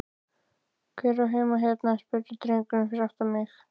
Hver á heima hérna? spurði drengurinn fyrir aftan mig?